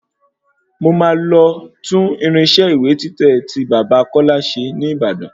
Mo máa lọ tún irinṣẹ́ ìwé títẹ̀ tí bàbá kọ́lá ṣe ní Ìbàdàn